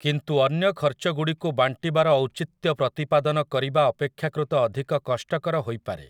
କିନ୍ତୁ ଅନ୍ୟ ଖର୍ଚ୍ଚଗୁଡ଼ିକୁ ବାଣ୍ଟିବାର ଔଚିତ୍ୟ ପ୍ରତିପାଦନ କରିବା ଅପେକ୍ଷାକୃତ ଅଧିକ କଷ୍ଟକର ହୋଇପାରେ ।